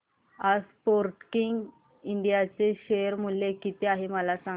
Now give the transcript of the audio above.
आज Sportking India चे share मूल्य किती आहे मला सांगा